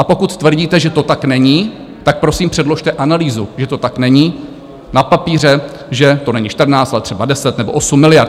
A pokud tvrdíte, že to tak není, tak prosím předložte analýzu, že to tak není, na papíře, že to není 14, ale třeba 10 nebo 8 miliard.